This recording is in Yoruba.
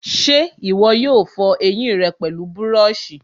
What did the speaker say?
ṣé ìwọ yóò fọ ẹyìn rẹ pẹlú búrọ̀sì?